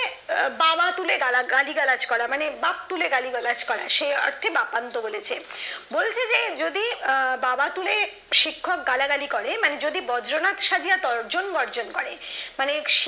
বাবা তুলে গালিগালাজ করা মানে বাপ তুলে গালিগালাজ করা সেই অর্থে বাতানত্র বলেছে বলছে যে যদি বাবা তুলে শিক্ষক গালাগালি করে মানে যদি বর্জ্যনাথ সাজিয়া তর্জন বর্জন করে মানে